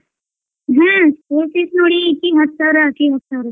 ಹ್ಮ್ school fees ನೋಡಿ ಇಕಿಗ್ ಹತ್ ಸಾವ್ರಾ ಅಕಿಗ್ ಹತ್ ಸಾವ್ರಾ sir .